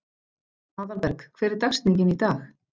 Aðalberg, hver er dagsetningin í dag?